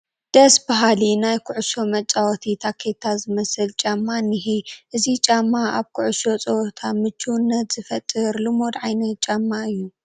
ደስ በሃሊ ናይ ኩዕሾ መፃወቲ ታኬታ ዝመስል ጫማ እኒሀ፡፡ እዚ ጫማ ኣብ ኩዕሾ ፀወታ ምቹውነት ዝፈጥር ልሙድ ዓይነት ጫማ እዩ፡፡